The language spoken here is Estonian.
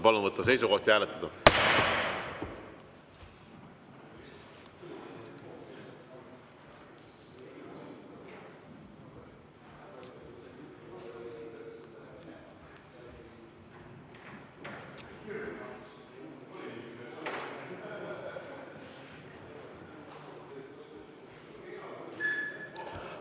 Palun võtta seisukoht ja hääletada!